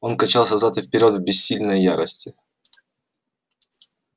он качался взад и вперёд в бессильной ярости